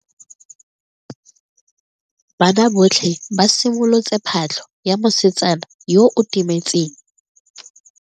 Banna botlhe ba simolotse patlo ya mosetsana yo o timetseng.